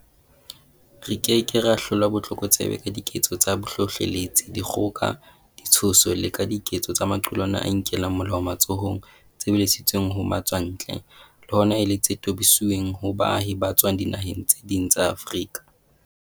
Re ke ke ra hlola botlokotsebe ka diketso tsa bohlohleletsi, dikgoka, ditshoso le ka diketso tsa maqulwana a inkelang molao matsohong tse lebisitsweng ho matswa ntle, le hona e le tse tobisitsweng ho baahi ba tswang dinaheng tse ding tsa Afrika.